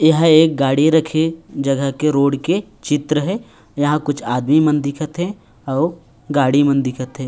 यह एक गाड़ी रखे जगह के रोड के चित्र हे इंहा कुछ आदमी मन दिखत हे अउ गाड़ी मन दिखत हे।